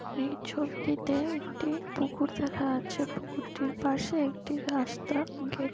এই ছবিটিতে একটি পুকুর দেখা যাচ্ছে পুকুরটির পাশে একটি রাস্তা ঘে--